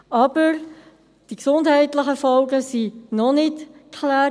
Aber: Die gesundheitlichen Folgen sind noch nicht geklärt;